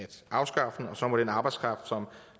afskaffe den og så må den arbejdskraft